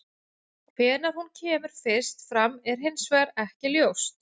Hvenær hún kemur fyrst fram er hins vegar ekki ljóst.